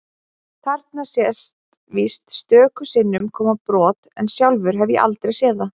Þarna sést víst stöku sinnum koma brot en sjálfur hef ég aldrei séð það.